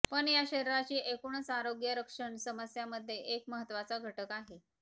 पण या शरीराची एकूणच आरोग्य रक्षण समस्या मध्ये एक महत्वाचा घटक आहे